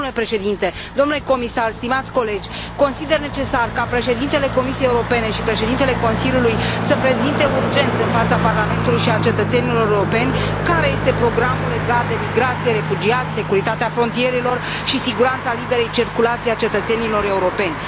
Domnule președinte, domnule comisar, stimați colegi, consider necesar ca președintele Comisiei Europene și președintele Consiliului să prezinte urgent în fața Parlamentului și a cetățenilor europeni care este programul legat de migrație, refugiați, securitatea frontierelor și siguranța liberei circulații a cetățenilor europeni.